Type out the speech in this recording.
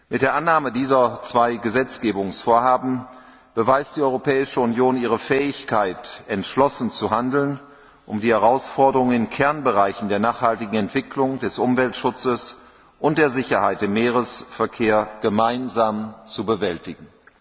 Mit der Annahme dieser zwei Gesetzgebungsvorhaben beweist die Europäische Union ihre Fähigkeit, entschlossen zu handeln, um die Herausforderungen in Kernbereichen der nachhaltigen Entwicklung, des Umweltschutzes und der Sicherheit im Seeverkehr gemeinsam zu bewältigen.